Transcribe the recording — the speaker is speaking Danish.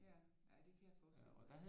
Ja ja det kan jeg forestille mig